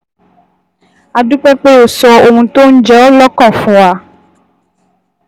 A dúpẹ́ pé o sọ ohun tó ń jẹ ọ́ lọ́kàn fún wa